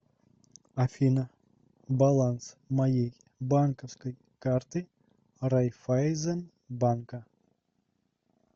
афина баланс моей банковской карты райфазенбанка